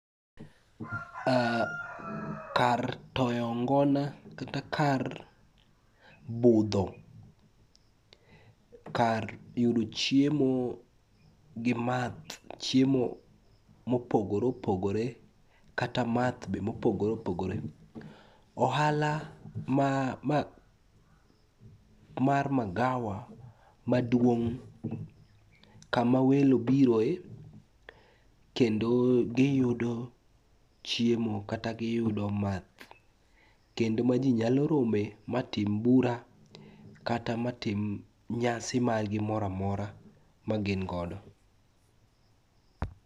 Kar toyo ngona kata kar budho, kar yudo chiemo gi math chiemo mopogore opogore kata math be mopogore opogore. Ohala mar magawa maduong' kama welo biro e, kendo giyudo chiemo kata giyudo math kendo ma ji nyalo rome matim bura kata matim nyasi margi moro amora magingodo.